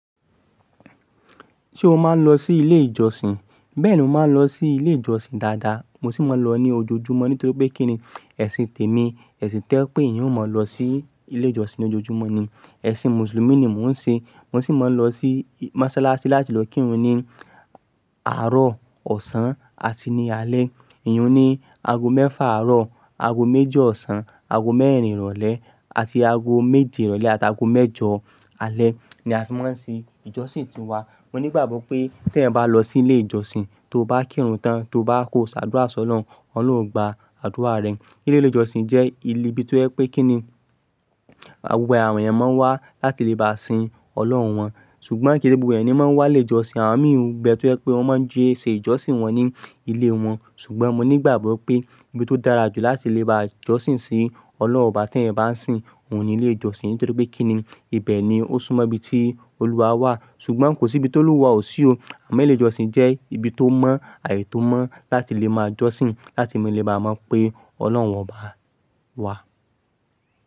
Ṣé o máa ń lọ sí ilé ìjọsìn? Bẹ́ẹ̀ni, mo máa ń lọ sí ilé ìjọsìn dáadáa, mo sì máa ń lọ ní ojoojúmọ́ nítorí pé kíni ẹ̀sìn tèmi, ẹ̀sìn tẹ́ pé eeyan o máa lọ sí ilé ìjọsìn ní ojoojúmọ́ ni. Ẹ̀sìn mùsùlùmí ni mò ń ṣe. Mo sì máa ń lọ sí mọ́sálásí láti lọ kírun ni àárọ̀, ọ̀sán àti ní alé. Iyùn ní aago mẹ́fà àárọ̀, aago méjì ọ̀sán, aago mẹ́rin ìrọ̀lẹ́ àti aago méje ìrọ̀lẹ́ àti aago mẹ́jọ alé ni a fi máa ń ṣe ìjọsìn ti wa. Mo nígbàgbọ́ pé tí ẹ̀eyan bá lọ sí ilé ìjọsìn, tó bá kírun tán, tó bá kó ṣàdúrà si Ọlọ́run, Ọlọ́run ó gba àdúrà rẹ. Ilé ìjọsìn jẹ́ ibi tó jẹ́ pé kíni, gbogbo àwọn èèyàn máa ń wá láti lè bá sin Ọlọ́run wọn. Ṣùgbọ́n kí se gbogbo ẹeyan ni máa ń wá ilé ìjọsìn, àwọn mìí n be, tó jẹ́ pé wọ́n máa ń jí ṣé ìjọsìn wọn ní ilé wọn. Ṣùgbọ́n mo nígbàgbọ́ pé ibi tó dára jù láti lè bá jọ́sìn sí Ọlọ́run obá tí ẹ̀eyan bá ń sìn òhun ni ilé ìjọsìn. Nítorí pé kíni ibẹ̀ ni ó súmọ́ ibi tí Olúwa wà. Ṣùgbọ́n kò sí ibi tí Olúwa ò sí o. Àmọ́ ilé ìjọsìn jẹ́ ibi tó mọ́, ààyè tó mọ́ láti lè máa jọ́sìn, láti lè máa mọ̀ pé Ọlọ́run ọba wà.